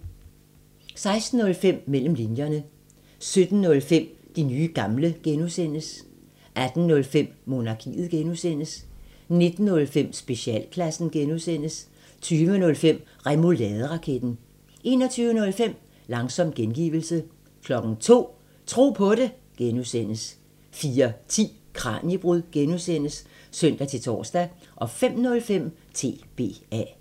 16:05: Mellem linjerne 17:05: De nye gamle (G) 18:05: Monarkiet (G) 19:05: Specialklassen (G) 20:05: Remouladeraketten 21:05: Langsom gengivelse 02:00: Tro på det (G) 04:10: Kraniebrud (G) (søn-tor) 05:05: TBA